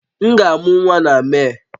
M ga-amụ nwa na Mee